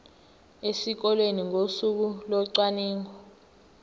esikoleni ngosuku locwaningo